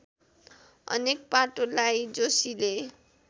अनेक पाटोलाई जोशीले